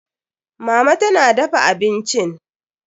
Mama tana dafa abincin.